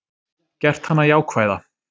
Gert hana jákvæða.